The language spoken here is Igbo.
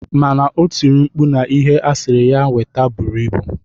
Mana otiri mkpu na ihe asiri ya weta buru ibu.